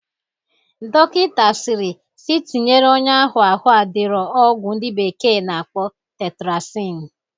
Dọkịta sịrị sị tinyere onye ahụ ahụ adirọ ọgwụ ndị bekee na-akpọ tetrasin